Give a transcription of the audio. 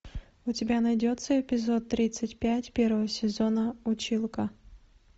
у тебя найдется эпизод тридцать пять первого сезона училка